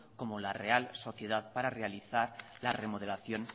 como la real sociedad para realizar la remodelación